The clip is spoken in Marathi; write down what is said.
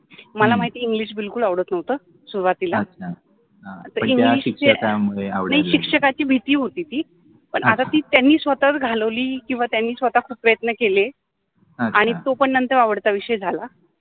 मला माहिति आहे इंग्लिश बिल्कुल आवडत नवत सुरुवातिला पन त्या शिक्षकान्मुळे, नाहि शिक्षकाचि भिति होति ति, आता ति त्यानि स्वताच घालवलि किव्वा त्यानि स्वताच प्रयत्न केले आणी तो पन नंतर आवडता विषय झाला.